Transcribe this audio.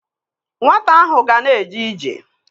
Nwata ahụ ga na-eje ije.